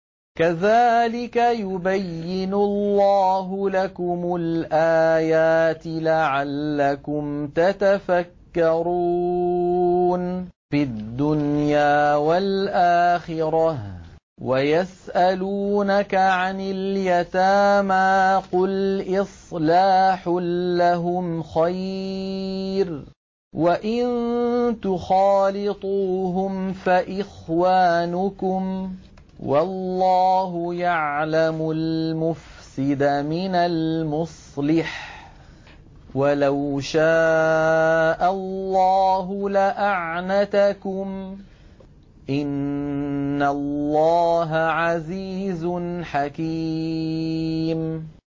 فِي الدُّنْيَا وَالْآخِرَةِ ۗ وَيَسْأَلُونَكَ عَنِ الْيَتَامَىٰ ۖ قُلْ إِصْلَاحٌ لَّهُمْ خَيْرٌ ۖ وَإِن تُخَالِطُوهُمْ فَإِخْوَانُكُمْ ۚ وَاللَّهُ يَعْلَمُ الْمُفْسِدَ مِنَ الْمُصْلِحِ ۚ وَلَوْ شَاءَ اللَّهُ لَأَعْنَتَكُمْ ۚ إِنَّ اللَّهَ عَزِيزٌ حَكِيمٌ